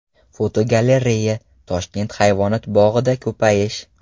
Fotogalereya: Toshkent hayvonot bog‘ida ko‘payish.